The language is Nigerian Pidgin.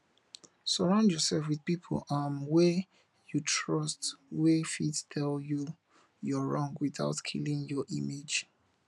sorround yourself with pipo um wey you trust wey fit tell you your wrong without killing your image